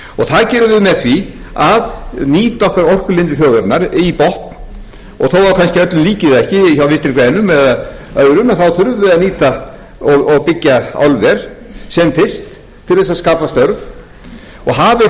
það gerum við með því að nýta orkulindir þjóðarinnar í botn og þó kannski öllum líki það ekki hjá vinstri grænum eða öðrum þá þurfum við að nýta og byggja álver sem fyrst til þess að skapa störf og hafi einhverjir aðrir önnur störf þá allt í lagi þá komum við